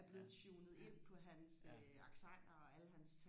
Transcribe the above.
er blevet tunet ind på hans accenter og alle hans